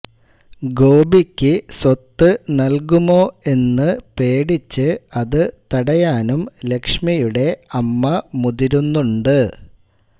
ഗോപിയ്ക്ക് സ്വത്ത് നൽകുമോ എന്നു പേടിച്ച് അതു തടയാനും ലക്ഷ്മിയുടെ അമ്മ മുതിരുന്നുണ്ട്